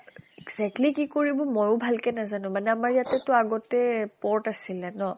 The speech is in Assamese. exactly কি কৰিব ময়ো ভাল কে নেজেনো মানে আমাৰ ইয়াতে টো আগতে port আছিলে ন?